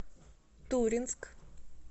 туринск